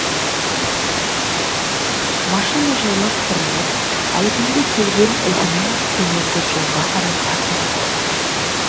машина жайлап бұрылып әлгінде келген ізімен төменгі жолға қарай тартып отырды